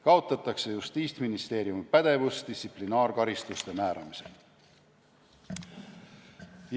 Kaotatakse Justiitsministeeriumi pädevus distsiplinaarkaristuste määramisel.